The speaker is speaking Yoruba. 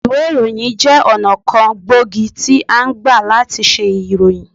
Ìwé ìròyìn jẹ́ ọ̀nà kan gbòógì tí a ngbà làti se ìròyìn